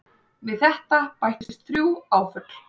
Við þetta bætist þrjú áföll.